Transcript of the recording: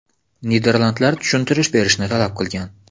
Niderlandlar tushuntirish berishni talab qilgan.